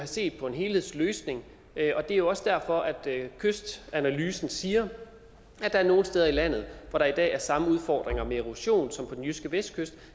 set på en helhedsløsning det er også derfor at kystanalysen siger at der er nogle steder i landet hvor der i dag er samme udfordringer med erosion som på den jyske vestkyst